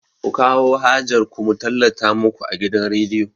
Ku kawo hajar ku mu tallata muku a gidan rediyo!